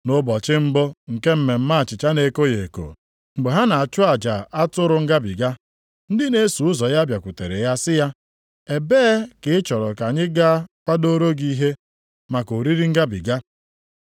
Nʼụbọchị mbụ nke Mmemme achịcha na-ekoghị eko, mgbe ha na-achụ aja atụrụ ngabiga, ndị na-eso ụzọ ya bịakwutere ya sị ya, “Ebee ka ị chọrọ ka anyị gaa kwadoro gị ihe, maka oriri ngabiga?”